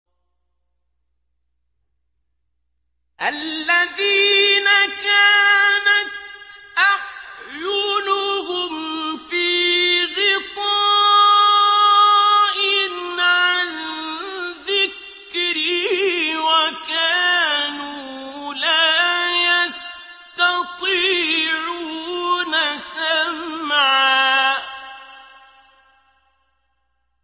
الَّذِينَ كَانَتْ أَعْيُنُهُمْ فِي غِطَاءٍ عَن ذِكْرِي وَكَانُوا لَا يَسْتَطِيعُونَ سَمْعًا